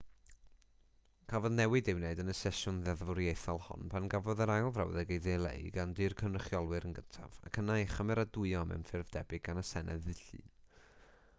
cafodd newid ei wneud yn y sesiwn ddeddfwriaethol hon pan gafodd yr ail frawddeg ei dileu gan dŷ'r cynrychiolwyr yn gyntaf ac yna ei chymeradwyo mewn ffurf debyg gan y senedd ddydd llun